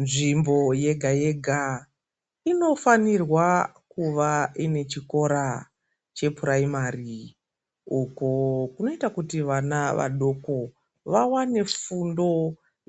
Nzvimbo yega yega inofanirwa kuva vechikora che purayimari uko kunoita kuti vana vadoko vawane fundo